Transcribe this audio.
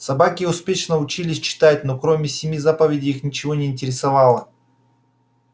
собаки успешно учились читать но кроме семи заповедей их ничего не интересовало